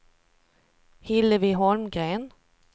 Hillevi Holmgren